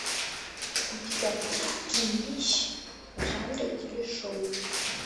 у тебя будет кинище в жанре телешоу